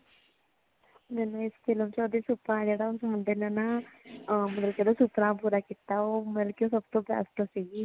ਮੈਨੂੰ ਇਸ film ਵਿੱਚ ਓਹਦਾ ਸੁਪਨਾ ਜੇੜਾ ਹੋਂਦਾ ਨਾ ਮਤਲਬ ਕੀ ਓਹਦਾ ਸੁਪਨਾ ਪੂਰਾ ਕੀਤਾ ਉਹ ਮਤਲਬ ਕੀ ਸਬ ਤੋਂ best ਸੀਗੀ